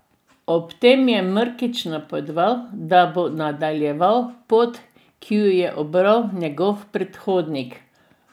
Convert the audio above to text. Ob tem je Mrkić napovedal, da bo nadaljeval pot, ki jo je ubral njegov predhodnik.